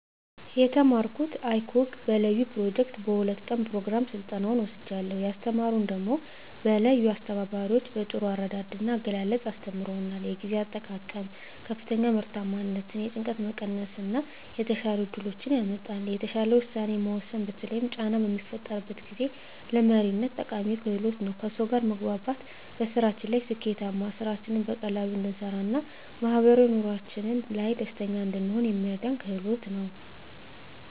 የተማረኩት icog በለዩ ኘሮጀክት በ2 ቀን ኘሮግራም ስልጠናዉን ወስጃለሁ። ያስተማሩን ደሞ በለዩ አስተባባሪዎች በጥሩ አረዳድ ና አገላለፅ አስተምረዉናል። የጊዜ አጠቃቀም ከፍተኛ ምርታማነትን፣ የጭንቀት መቀነስ እና የተሻሉ እድሎችን ያመጣል። የተሻለ ዉሳኔ መወሰን በተለይም ጫና በሚፈጠርበት ጊዜ፣ ለመሪነት ጠቃሚ ክህሎት ነዉ። ከሰዉ ጋር መግባባት በስራችን ላይ ስኬታማ፣ ስራችንን በቀላሉ እንድንሰራ ና ማህበራዊ ኑሮአችን ላይ ደስተኛ እንድንሆን የሚረዳን ክህሎት ነዉ።